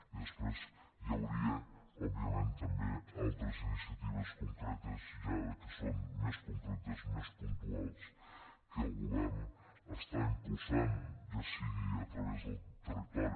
i després hi hauria òbviament també altres iniciatives concretes ja que són més concretes més puntuals que el govern està impulsant ja sigui a través del territori